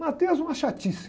Mateus é uma chatice.